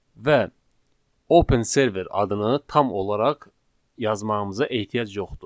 Və Open Server adını tam olaraq yazmağımıza ehtiyac yoxdur.